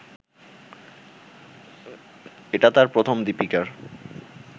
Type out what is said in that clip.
এটা তার প্রথম দীপিকার